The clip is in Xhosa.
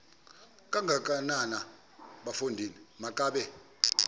kangakanana bafondini makabe